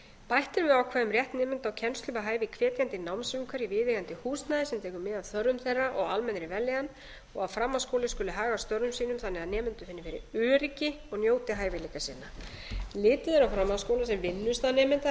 bætt er við ákvæði um rétt nemenda á kennslu við hæfi í hvetjandi námsumhverfi í viðeigandi húsnæði sem tekur mið af þörfum þeirra og almennri vellíðan og að framhaldsskóli skuli haga störfum sínum þannig að nemendur finni fyrir öryggi og njóti hæfileika sinna litið er á framhaldsskóla sem vinnustað nemenda þar